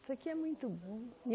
porque é muito bom.